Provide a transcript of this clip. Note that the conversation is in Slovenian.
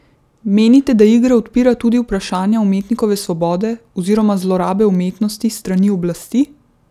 Menite, da igra odpira tudi vprašanja umetnikove svobode oziroma zlorabe umetnosti s strani oblasti?